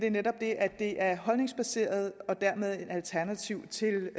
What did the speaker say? er netop det at det er holdningsbaseret og dermed et alternativ til